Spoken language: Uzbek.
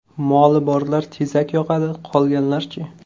Moli borlar tezak yoqadi, qolganlar-chi?!